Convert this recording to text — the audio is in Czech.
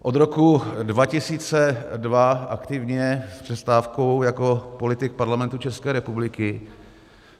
Od roku 2002 aktivně s přestávkou jako politik Parlamentu České republiky.